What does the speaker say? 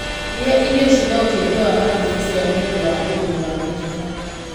rĩa irio ciĩna ũteithio wa magnesium nĩũndũ wa ũguni wa mĩkiha